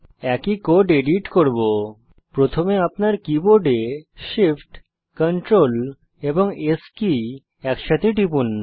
একই code edit করব প্রথমে আপনার কীবোর্ড Shift Ctrl এবং S কী একসাথে টিপুন